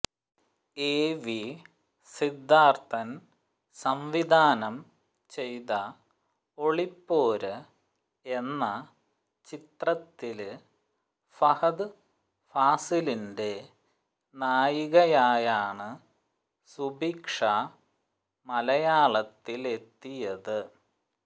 എവി സിദ്ധാര്ത്ഥന് സംവിധാനം ചെയ്ത ഒളിപ്പോര് എന്ന ചിത്രത്തില് ഫഹദ് ഫാസിലിന്റെ നായികയായാണ് സുഭിക്ഷ മലയാളത്തിലെത്തിയത്